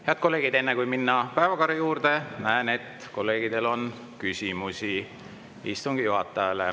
Head kolleegid, enne kui minna päevakorra juurde, näen, et kolleegidel on küsimusi istungi juhatajale.